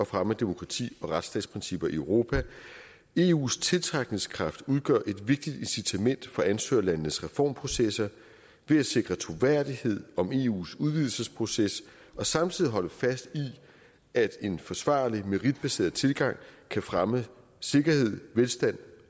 fremme af demokrati og retsstatsprincipper i europa eus tiltrækningskraft udgør et vigtigt incitament for ansøgerlandenes reformprocesser ved at sikre troværdighed om eus udvidelsesproces og samtidig holde fast i at en forsvarlig meritbaseret tilgang kan fremme sikkerhed og velstand